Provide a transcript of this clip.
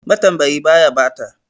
Matambayi baya ɓata.